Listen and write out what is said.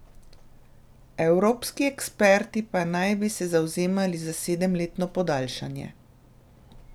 Evropski eksperti pa naj bi se zavzemali za sedemletno podaljšanje.